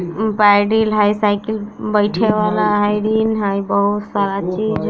पैडिल है साइकिल बैठे वाला हई रिन हई बहुत सारा चीज हई।